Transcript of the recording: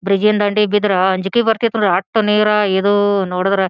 ಬ್ರಿಡ್ಜಿನ ದಂಡಿಗ ಬಿದ್ರ ಅಂಜಿಕ್ ಬರ್ತತಿ ನೋಡ್ರಿ ಅಟ್ಟ ನೀರ್ ಇದು ನೋಡಿದ್ರೆ.